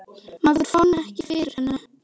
Maður fann ekki fyrir henni.